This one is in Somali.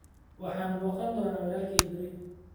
Waxaan booqan doonaa walaalkay berri